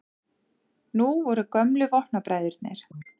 Nú voru gömlu vopnabræðurnir